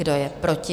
Kdo je proti?